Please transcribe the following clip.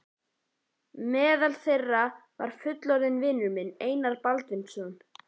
Meðal þeirra var fullorðinn vinur minn, Einar Baldvinsson.